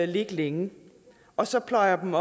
ligge længe og så pløjer dem